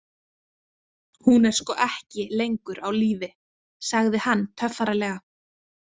Hún er sko ekki lengur á lífi, sagði hann töffaralega.